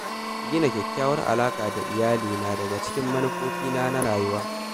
Gina kyakkyawar alaƙa da iyali na daga cikin manufofina na rayuwa.